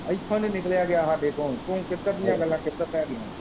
ਇੱਥੋਂ ਨਹੀਂ ਨਿਕਲਿਆ ਗਿਆ ਸਾਡੇ ਤੋਂ ਤੂੰ ਕਿੱਧਰ ਦੀਆਂ ਗੱਲਾਂ ਕਿੱਧਰ ਲੈ ਗਿਆ।